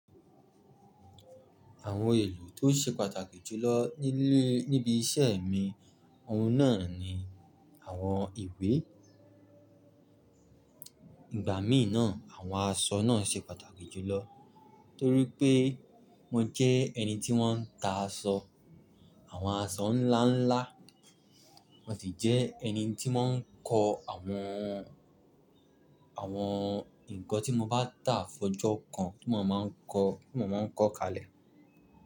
Àwọn ohun èlò tó ṣe pàtàkì jùlọ nílé níbi iṣẹ́ mi ọ̀ún náà ni àwọn ìwé. Ìgbà míì náà, àwọn aṣọ náà ṣe pàtàkì jùlọ torí pé mo jẹ́ ẹni tí wọ́n ń ta aṣọ, àwọn aṣọ ńláńlá. Mo sì jẹ́ ẹni tí mọ̀ ń kọ́ àwọn, àwọn nǹkan tí mo bá tà fọjọ́ kan tí mo máa ń kọ, tí mo máa ń kọ́ kalẹ̀